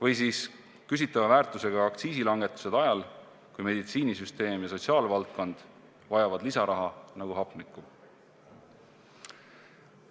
Või siis küsitava väärtusega aktsiisilangetused ajal, kui meditsiinisüsteem ja sotsiaalvaldkond vajavad lisaraha nagu hapnikku?